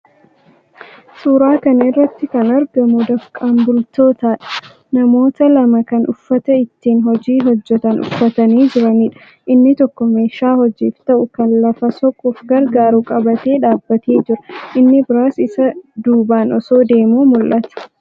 Suuraa kana irratti kan argamu dafqaan bultootadha. Namoota lama kan uffata ittiin hojii hojjetan uffatanii jiraniidha. Inni tokko meeshaa hojiif ta'u kan lafa soquuf gargaaru qabatee dhaabbatee jira. Inni biraanis isa duubaan osoo deemuu mul'ata.